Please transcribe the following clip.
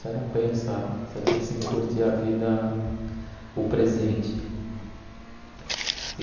Você não pensa, você pensa em curtir a vida, o presente. E